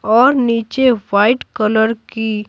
और नीचे white colour की--